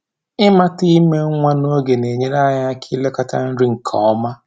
Ịmata ime nwa n'oge na-enyere anyị aka ilekọta nri nke ọma.